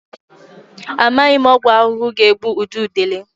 Amaghị m ọgwụ ahụhụ ga-egbu ududele.